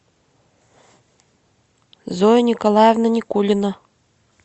зоя николаевна никулина